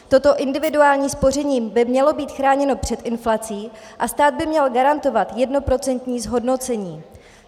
Toto individuální spoření by mělo být chráněno před inflací a stát by měl garantovat jednoprocentní zhodnocení.